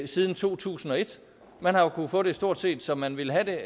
siden to tusind og et man har kunnet få det stort set som man vil have det